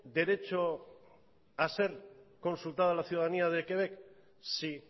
derecho a ser consultada la ciudadanía de quebec sí